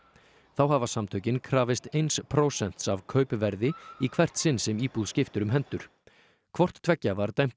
þá hafa samtökin krafist eins prósents af kaupverði í hvert sinn sem íbúð skiptir um hendur hvort tveggja var dæmt